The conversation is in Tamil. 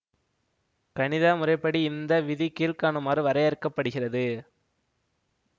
கணித முறைப்படி இந்த விதி கீழ்க்காணுமாறு வரையறுக்க படுகிறது